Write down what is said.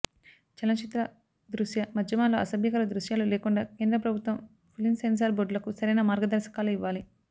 చలనచిత్ర దృశ్య మాధ్యమాల్లో అసభ్యకర దృశ్యాలు లేకుండా కేంద్ర ప్రభుత్వం ఫిలిం సెన్సార్ బోర్డులకు సరైన మార్గదర్శకాలు ఇవ్వాలి